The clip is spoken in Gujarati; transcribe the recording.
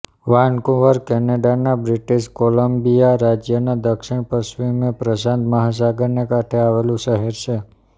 વાનકુવર કેનેડાના બ્રિટિશ કોલંબિયા રાજ્યના દક્ષિણ પશ્ચિમે પ્રશાંત મહાસાગરને કાંઠે આવેલું શહેર છે